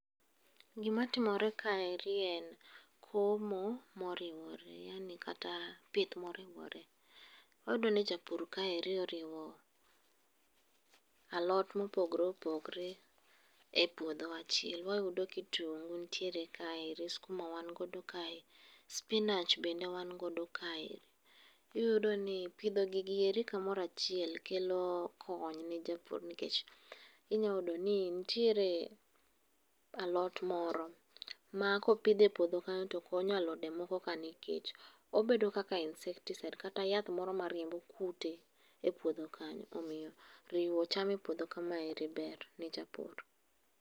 Gima timore kaeri en komo moriwore yaani kata pith moriwore. Wayudo ni japur kaeri oriwo alot mopogore opogore e puodho achiel. Wayudo kitungu nitiere kaeri, skuma wan godo kae, spinach bende wan godo kae, iyudo ni pidho gigi eri kamoro achiel kelo kony ne japur nikech inya yudo ni nitiere alot moro ma kopidh e puodho kanyo to konyo alode moko nikech obedo kaka insecticide kata yath moro mariembo kute e puodho kanyo omiyo riwo cham e puodho kamaeri ber ne japur